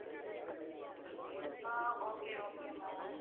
ah okay okay ma'am okay